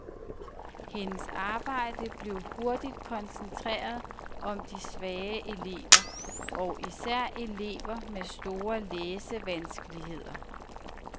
Hendes arbejde blev hurtigt koncentreret om de svage elever, og især elever med store læsevanskeligheder.